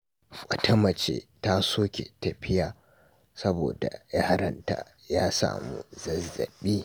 Wata mace ta soke tafiya saboda yaron ta ya kamu da zazzabi.